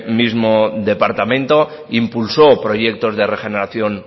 mismo departamento impulsó proyectos de regeneración